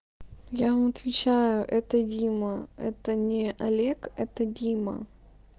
я вам отвечаю это дима это не олег это дима